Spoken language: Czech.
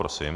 Prosím.